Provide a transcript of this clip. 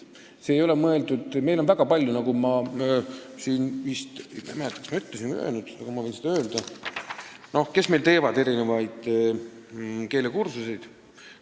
Meil on väga palju neid – ma ei mäleta, kas ma seda juba ütlesin või ei öelnud, aga ma võin seda praegu öelda –, kes erinevaid keelekursusi teevad.